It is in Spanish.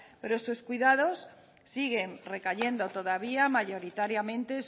pero estos cuidados siguen recayendo todavía mayoritariamente